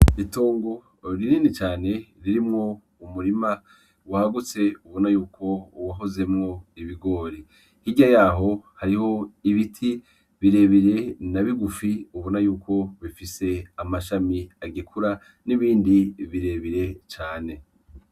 Itongo rinini cane ririmwo umurima wagutse ubona yuko wahozemwo ibigori , hirya yaho hariho ibiti birebire na bigufi ubona yuko bifise amashami agikura n’ibindi birebire cane .